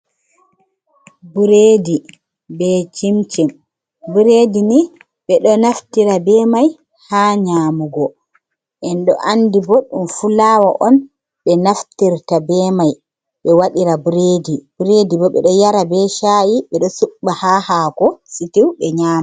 Buredi be cimcim buredi ni ɓe ɗo naftira be mai ha nyamugo en ɗo andi bo ɗum fu lawa on ɓe naftirta be mai be waɗira buredi, buredi bo ɓe ɗo yara be sha’i ɓe ɗo suɓɓa ha hako sitiu ɓe nyama.